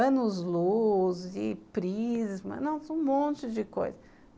Anos-luz, prisma, nossa um monte de coisa.